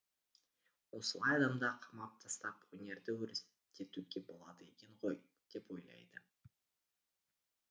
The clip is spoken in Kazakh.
осылай адамды қамап тастап өнерді өрістетуге болады екен ғой деп ойлайды